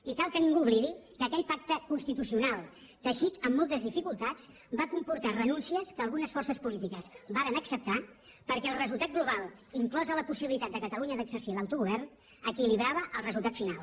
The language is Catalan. i cal que ningú oblidi que aquell pacte constitucional teixit amb moltes dificultats va comportar renúncies que algunes forces polítiques varen acceptar perquè el resultat global inclosa la possibilitat de catalunya d’exercir l’autogovern equilibrava el resultat final